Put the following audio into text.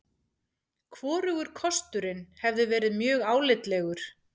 Hvorugur kosturinn hefði verið mjög álitlegur.